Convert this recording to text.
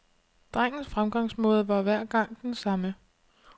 Drengens fremgangsmåde var hver gang den samme.